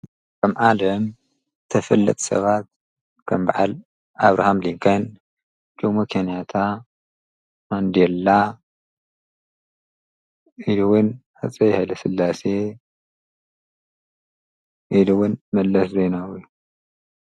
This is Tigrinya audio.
ኣብ ዓለም ተፈለጥቲ ሰባት ከም በዓል ኣብርሃም ሊንከን ፣ ጆሞ ከንያታ፣ ማንዴላ፣ ኢሉ ውን ሃፀይ ሃይለስላሴ ኢሉ እውን መለስ ዜናዊ ።